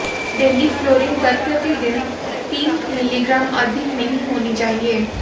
daily fluorine दर प्रति दिन तीन मिलीग्राम अधिक नहीं होनी चाहिए